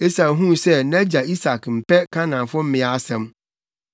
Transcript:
Esau huu sɛ nʼagya Isak mpɛ Kanaanfo mmea asɛm.